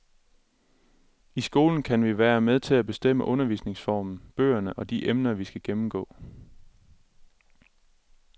I skolen kan vi være med til at bestemme undervisningsformen, bøgerne og de emner, vi skal gennemgå.